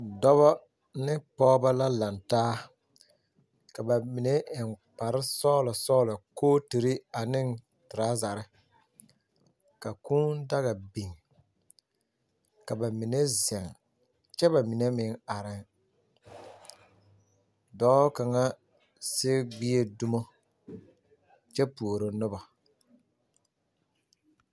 Dɔbɔ ne pɔgebɔ la laŋ taa, ka ba mine eŋ kpare sɔgelɔ sɔgelɔ, kooturi ane torazɛre, ka kũũ daga biŋ, ka ba mine zeŋ, kyɛ ba mine meŋ arɛɛŋ. Dɔɔ kaŋa sigi gbie dumo kyɛ puoro nobɔ.